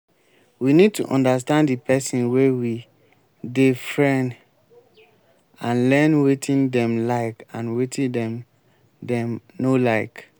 we need to understand di person wey we dey friend and learn wetin dem like and wetin dem dem no like